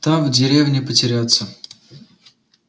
там в деревне потеряться